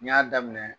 N y'a daminɛ